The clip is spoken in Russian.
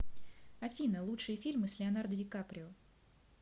афина лучшие фильм с леонардо ди каприо